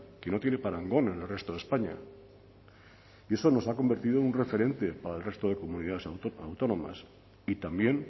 que no tiene parangón en el resto de españa y eso no ha convertido en un referente para el resto de comunidades autónomas y también